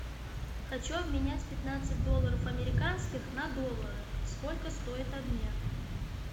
хочу обменять пятнадцать долларов американских на доллары сколько стоит обмен